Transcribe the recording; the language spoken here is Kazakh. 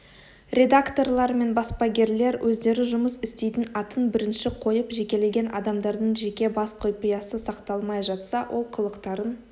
редакторлар мен баспагерлер өздері жұмыс істейтін атын бірінші қойып жекелеген адамдардың жеке бас құпиясы сақталмай жатса ол қылықтарын